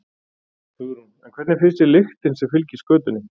Hugrún: En hvernig finnst þér lyktin sem fylgir skötunni?